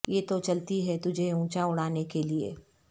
یہ تو چلتی ہے تجھے اونچا اڑا نے کے لئے